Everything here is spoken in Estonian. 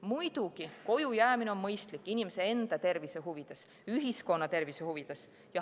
Muidugi, kojujäämine on mõistlik inimese enda tervise huvides, ühiskonna tervise huvides.